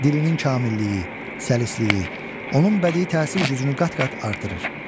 Dilinin kamilliyi, səlisliyi onun bədii təsir gücünü qat-qat artırır.